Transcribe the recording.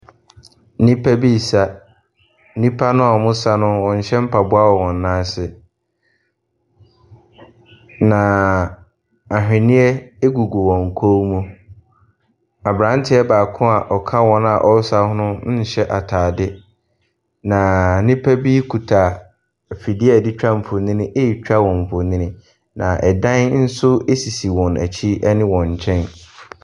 Nnipa bi resa. Nnipa no a wɔresa no, wɔnhyɛ mpaboa wɔn nan ase, na ahwenneɛ gugu wɔn kɔn mu. Aberanteɛ baako a ɔka wɔn a wɔresa no ho no nhyɛ atade, na nnipa bi kuta afidie a wɔde twa mfonin retwa wɔn mfonin, na dan nso sisi wɔn akyi ne wɔn nkyɛn.